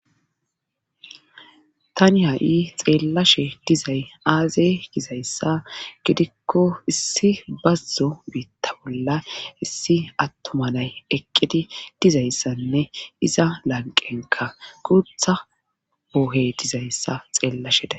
Tani ha7i xeellashe dizay aaze gizayssa gidikko issi bazzo biitta bolla issi attomalay eqqidi dizayssanne iza lanqenka guutha boohe dizayssa xeellashede.